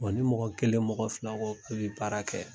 Wa ni mɔgɔ kelen mɔgɔ fila ko ka bi baara kɛ